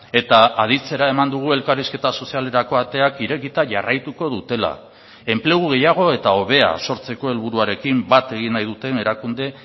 eta aditzera eman dugu elkarrizketa sozialerako ateak irekita jarraituko dutela enplegu gehiago eta hobea sortzeko helburuarekin bat egin nahi duten erakunde